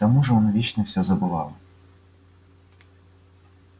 к тому же он вечно всё забывал